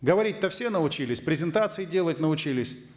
говорить то все научились презентации делать научились